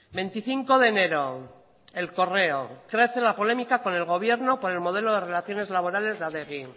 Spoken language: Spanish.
veinticinco de enero el correo crece la polémica con el gobierno por el modelo de relaciones laborales de adegi